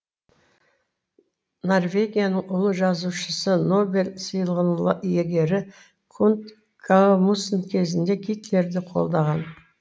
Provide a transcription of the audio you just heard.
норвегияның ұлы жазушысы нобель сыйлығының иегері кунт гамсун кезінде гитлерді қолдаған